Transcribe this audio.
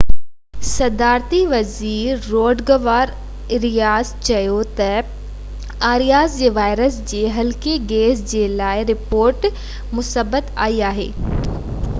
صدارتي وزير Rodrigo Arias چيو ته آرياس جي وائرس جي هلڪي ڪيس جي لاءِ رپورٽ مثبت آئي آهي